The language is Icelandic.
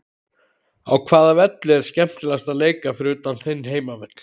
Á hvaða velli er skemmtilegast að leika fyrir utan þinn heimavöll?